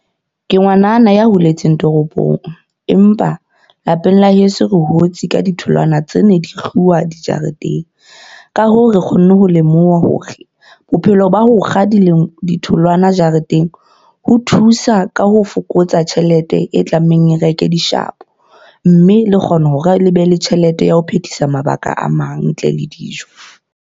Ke ngwanana ya holetseng toropong. Empa lapeng la heso re hotse ka ditholwana tse ne di kguwa dijareteng. Ka hoo, re kgonne ho lemoha hore bophelo ba hokga di ditholwana jareteng, ho thusa ka ho fokotsa tjhelete e tlamehang e reke dishabo. Mme le kgona hore le be le tjhelete ya ho phethisa mabaka a mang ntle le dijo.